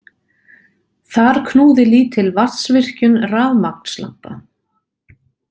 Þar knúði lítil vatnsvirkjun rafmagnslampa.